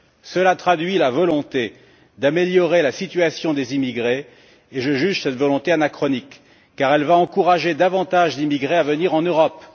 Cela traduit la volonté d'améliorer la situation des immigrés et je juge cette volonté anachronique, car elle va encourager davantage d'émigrés à venir en Europe.